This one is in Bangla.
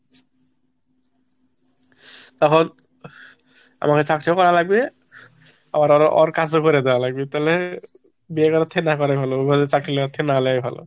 তখন আমাকে চাকরি করা লাগবে আবার ওর কাজও করে দেওয়া লাগবে তালে বিয়ে করার থেকে না করা ভালো অভাবে চাকরি লেওয়ার থেকে না লেওয়া ভালো।